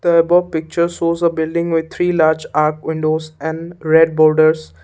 the above picture shows a building with three large up windows and red borders.